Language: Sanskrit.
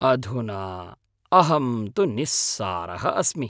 अधुना, अहं तु निस्सारः अस्मि!